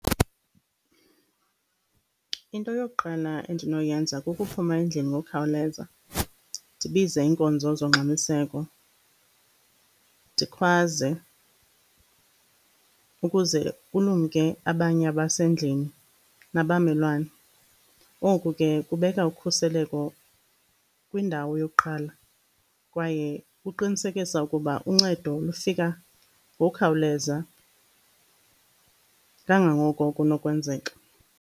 Into yokuqala endinoyenza kukuphuma endlini ngokukhawuleza, ndibize iinkonzo zongxamiseko. Ndikhwaze ukuze kulumke abanye abasendlini nabamelwane. Oku ke kubeka ukhuseleko kwindawo yokuqala kwaye kuqinisekisa ukuba uncedo lufika ngokukhawuleza, kangangoko kunokwenzeka.